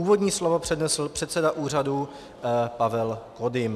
Úvodní slovo přednesl předseda úřadu Pavel Kodym.